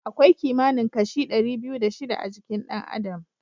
Akwai kimanin kashi ɗari biyu da shida a jikin ɗan adam.